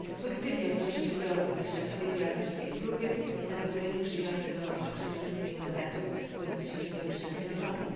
Pozytywnie odnoszę się do dotychczasowej działalności tej grupy i z zadowoleniem przyjęłam wiadomość o przedłużeniu jej mandatu do 2013 roku.